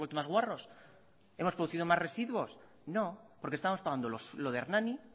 más guarros hemos producido más residuos no porque estamos pagando lo de hernani